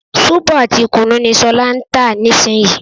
Sóbò àti kùnú ni ṣọlá ń tà nísìnyí